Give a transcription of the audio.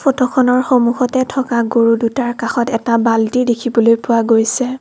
ফটোখনৰ সন্মুখতে থকা গৰু দুটাৰ কাষত এটা বাল্টি দেখিবলৈ পোৱা গৈছে।